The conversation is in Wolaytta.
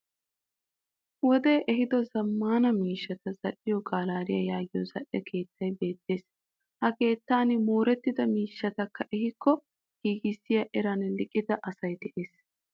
Wodee ehido zammaana miishshata zal'iyoo gallery yaagiya zal'e keettay beettes. Ha keettan moorettida miishshatakka ehikko giigissiya eran liiqida asay dees.